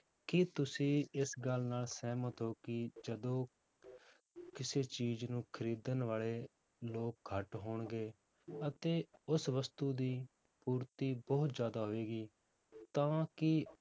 ਕੀ ਤੁਸੀਂ ਇਸ ਗੱਲ ਨਾਲ ਸਹਿਮਤ ਹੋ ਕਿ ਜਦੋਂ ਕਿਸੇ ਚੀਜ਼ ਨੂੰ ਖ਼ਰੀਦਣ ਵਾਲੇ ਲੋਕ ਘੱਟ ਹੋਣਗੇ ਅਤੇ ਉਸ ਵਸਤੂ ਦੀ ਪੂਰਤੀ ਬਹੁਤ ਜ਼ਿਆਦਾ ਹੋਵੇਗੀ ਤਾਂ ਕੀ